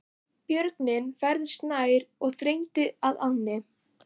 Björgin færðust nær og þrengdu að ánni.